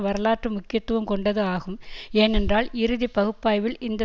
வரலாற்று முக்கியத்துவம் கொண்டது ஆகும் ஏனென்றால் இறுதி பகுப்பாய்வில் இந்த